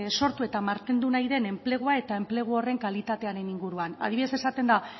sortu eta mantendu nahi den enplegua eta enplegu horren kalitatearen inguruan adibidez esaten da